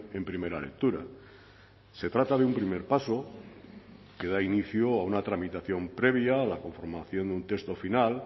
en primera lectura se trata de un primer paso que da inicio a una tramitación previa a la conformación de un texto final